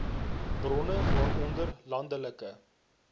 bronne waaronder landelike